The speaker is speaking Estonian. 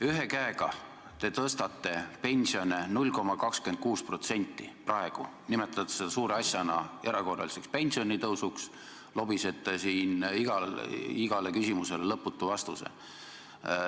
Ühe käega te tõstate praegu pensione 0,26%, nimetades seda suureks asjaks, erakorraliseks pensionitõusuks, lobisete siin igale küsimusele lõputu vastuse.